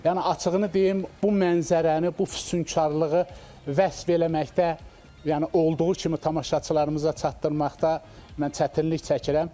Yəni açığını deyim, bu mənzərəni, bu füsunkarlığı vəsf eləməkdə, yəni olduğu kimi tamaşaçılarımıza çatdırmaqda mən çətinlik çəkirəm.